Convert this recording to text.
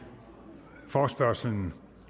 forespørgsel